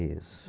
Isso.